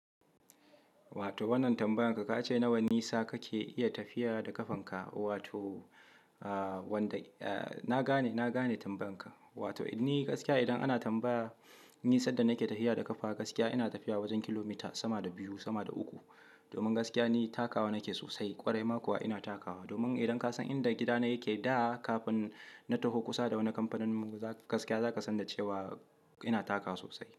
Wato wannan tambayan ka, ka ce nawa nisa kake iya tafiya da kafan ka? Wato, aa wanda-- eh na gane, na gane tambayan ka. Wato ni gaskiya idan ana tambaya ni sadda nake tafiya da kafa, gaskiya ina tafiya wajen kilomita sama da biyu, sama da uku. Domin gaskiya ni takawa nake sosai, ƙwarai ma kuwa ina takawa. Domin idan ka san inda gidana yake da kafin na taho kusa da wani kamfanin mu za ku-- gaskiya za ka san da cewa ina takawa sosai.